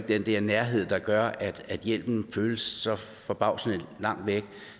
den der nærhed der gør at hjælpen føles så forbavsende langt væk